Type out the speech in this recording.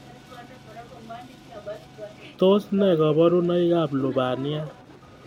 Tos ne kaborunoikab lubaniat